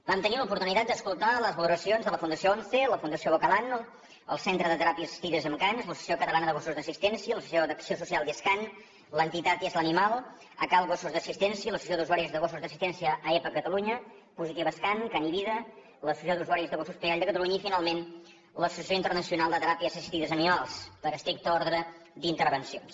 vam tenir l’oportunitat d’escoltar les valoracions de la fundació once la fundació bocalan el centre de teràpies assistides amb cans l’associació catalana de gossos d’assistència l’associació d’acció social discan l’entitat isla animal áskal gossos d’assistència l’associació d’usuaris de gossos d’assistència aepa catalunya positivas can can i vida l’associació d’usuaris de gossos pigall de catalunya i finalment l’associació internacional de teràpies assistides amb animals per estricte ordre d’intervencions